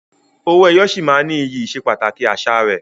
Owó ẹyọ sì máa ní iyì ìsepàtàkì àṣà rẹ.